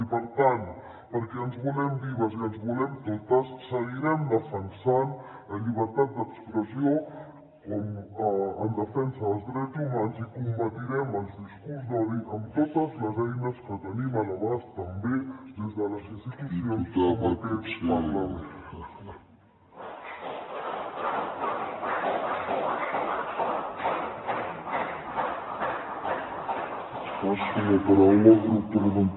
i per tant perquè ens volem vives i ens volem totes seguirem defensant la llibertat d’expressió com a defensa dels drets humans i combatrem els discursos d’odi amb totes les eines que tenim a l’abast també des de les institucions com aquest parlament